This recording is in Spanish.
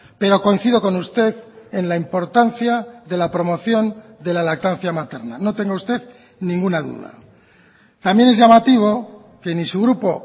pero coincido con usted en la importancia de la promoción de la lactancia materna no tenga usted ninguna duda también es llamativo que ni su grupo